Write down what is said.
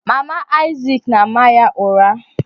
Mama Isaac na-ama ya ụra.